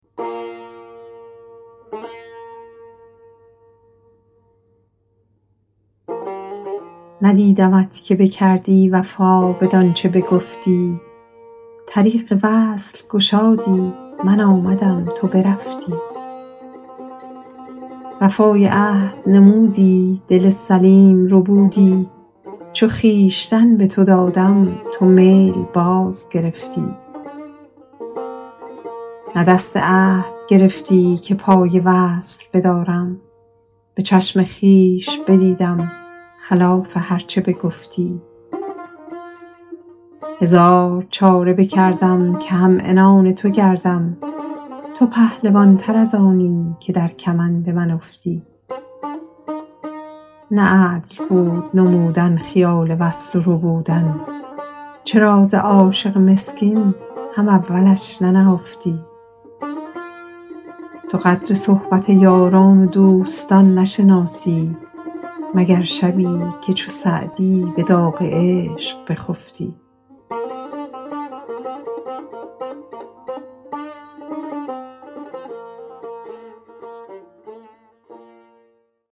ندیدمت که بکردی وفا بدان چه بگفتی طریق وصل گشادی من آمدم تو برفتی وفای عهد نمودی دل سلیم ربودی چو خویشتن به تو دادم تو میل باز گرفتی نه دست عهد گرفتی که پای وصل بدارم به چشم خویش بدیدم خلاف هر چه بگفتی هزار چاره بکردم که هم عنان تو گردم تو پهلوان تر از آنی که در کمند من افتی نه عدل بود نمودن خیال وصل و ربودن چرا ز عاشق مسکین هم اولش ننهفتی تو قدر صحبت یاران و دوستان نشناسی مگر شبی که چو سعدی به داغ عشق بخفتی